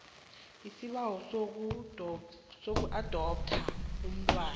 isibawo sokuadoptha umntwana